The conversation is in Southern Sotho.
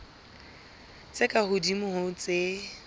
tse ka hodimo ho tse